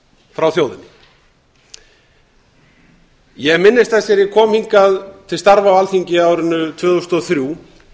frá þjóðinni ég minnist þess þegar ég kom hingað til starfa á alþingi á árinu tvö þúsund og þrjú